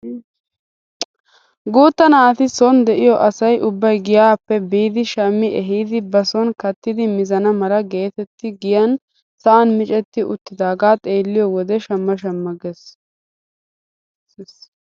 Guutta naati son de'iyoo asay ubbay giyaape biidi shammi ehidi ba sonni kattidi mizana mala getetti giyaan sa'an miccetti uttidagaa xeelliyoode shamma shamma giisses!